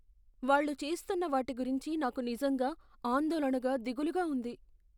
వాళ్ళు చేస్తున్న వాటి గురించి నాకు నిజంగా ఆందోళనగా, దిగులుగా ఉంది.